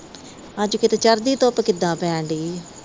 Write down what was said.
ਅੱਜ ਚੜ੍ਹਦੀ ਧੁੱਪ ਕਿਦਾਂ ਪੈਣ ਦਈ ਆ।